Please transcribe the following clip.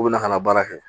K'u bɛ na ka na baara kɛ